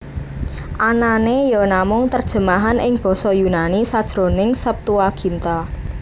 Anané ya namung terjemahan ing basa Yunani sajroning Septuaginta